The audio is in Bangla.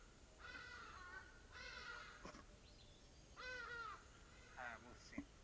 হ্যাঁ বুঝছি।